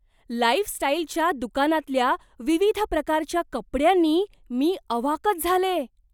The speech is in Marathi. लाईफस्टाईलच्या दुकानातल्या विविध प्रकारच्या कपड्यांनी मी अवाकच झाले!